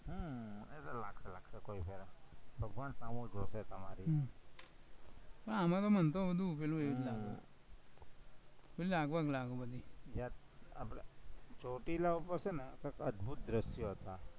ભગવાન સામું જોશે તમારી ના અમારામાં એમ તો બધું પેલું આપણે ચોટીલા ઉપર છે ને અદભુત દ્રશ્યો હતા